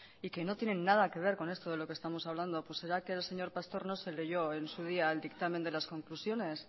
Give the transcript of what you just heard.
y que no tienen nada que ver con esto de lo que estamos hablando pues será que el señor pastor no se leyó en su día el dictamen de las conclusiones